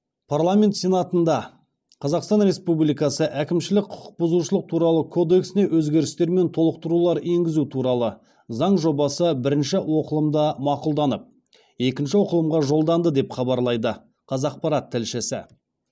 парламент сенатында қазақстан республикасы әкімшілік құқықбұзушылық туралы кодексіне өзгерістер мен толықтырулар енгізу туралы заң жобасы бірінші оқылымда мақұлданып екінші оқылымға жолданды деп хабарлайды қазақпарат тілшісі